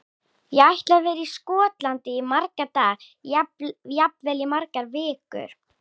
Ég ætla að vera í Skotlandi í marga daga, jafnvel í margar vikur.